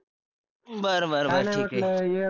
बर बर बर ठीक आहे